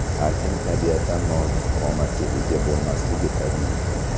Har kim tabiatan nozik qomatga ega bo‘lmasligi tabiiy.